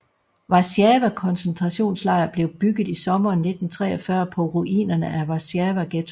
Warszawa koncentrationslejr blev bygget i sommeren 1943 på ruinerne af Warszawaghettoen